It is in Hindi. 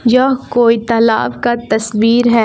यह कोई तालाब का तस्वीर है।